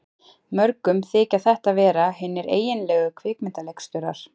Mörgum þykja þetta vera hinir eiginlegu kvikmyndaleikstjórar.